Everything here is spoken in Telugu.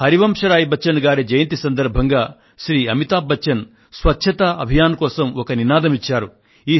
హరివంశరాయ్ బచ్చన్ గారి జయంతి సందర్భంగా శ్రీమాన్ అమితాబ్ బచ్చన్ స్వచ్ఛతా అభియాన్ కోసం ఒక నినాదం ఇచ్చారు